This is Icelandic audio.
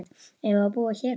Eigum við að búa hér pabbi?